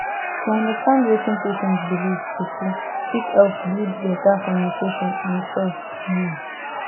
to understand wetin patient believe truetrue fit help build better communication and trust um